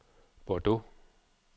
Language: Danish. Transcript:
Bordeaux